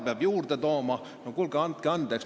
No kuulge, andke andeks!